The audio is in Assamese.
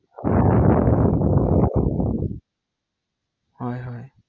মোৰ মানে প্ৰধান সমস্যাটো সেইটো কাৰণেহে হৈ আছে৷